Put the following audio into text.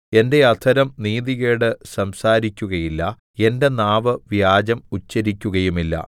എന്റെ അധരം നീതികേട് സംസാരിക്കുകയില്ല എന്റെ നാവ് വ്യാജം ഉച്ചരിക്കുകയുമില്ല